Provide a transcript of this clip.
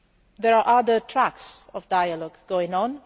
There are other tracks of dialogue going on.